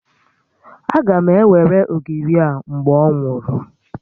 Aga m ewere ogiri a mgbe ọ nwụrụ